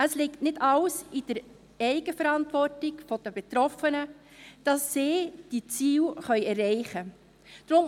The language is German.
Es liegt nicht alles in der Eigenverantwortung der Betroffenen, dass sie diese Ziele erreichen können.